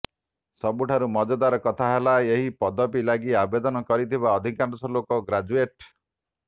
ସବୁଠାରୁ ମଜାଦାର କଥା ହେଲା ଏହି ପଦବୀ ଲାଗି ଆବେଦନ କରିଥିବା ଅଧିକାଂଶ ଲୋକ ଗ୍ରାଜୁଏଟ୍